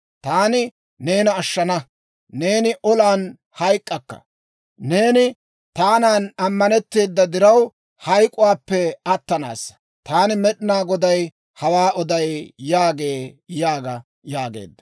Taani neena ashshana; neeni olan hayk'k'akka; neeni taanan ammanetteeda diraw, hayk'k'uwaappe attanaassa. Taani Med'inaa Goday hawaa oday» yaagee› yaaga» yaageedda.